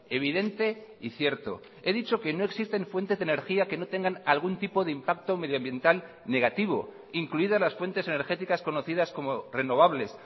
evidente y cierto he dicho que no existen fuentes de energía que no tengan algún tipo de impacto medioambiental negativo incluidas las fuentes energéticas conocidas como renovables